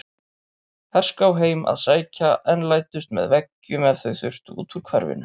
Herská heim að sækja en læddust með veggjum ef þau þurftu út úr hverfinu.